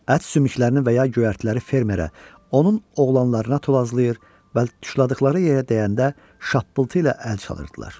Ət sümüklərini və ya göyərtiləri fermerə, onun oğlanlarına tullazlayır və dişlədikləri yerə dəyəndə şapıltı ilə əl çalırdılar.